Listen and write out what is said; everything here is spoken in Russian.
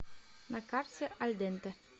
на карте аль денте